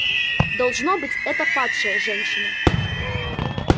должно быть это падшая женщина